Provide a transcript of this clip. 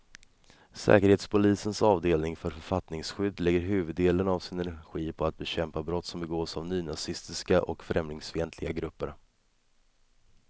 Säkerhetspolisens avdelning för författningsskydd lägger huvuddelen av sin energi på att bekämpa brott som begås av nynazistiska och främlingsfientliga grupper.